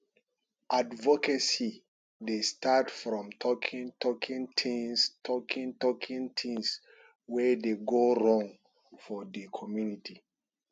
advocacy dey start from talking talking things talking talking things wey dey go wrong for di community